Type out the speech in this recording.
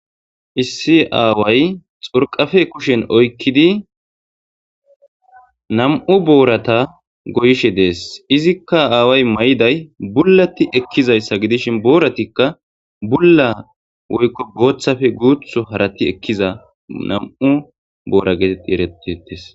issi aaway xorqafe kushen oykkidi nam7u boorata goyishe dees izikka aaway may7day bullati ekkizayssa gidishin booratikka bulla woykko booththafe guutho harati ekkiza nam7u boora geetet erettietes